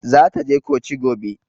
Zata je coci gobe.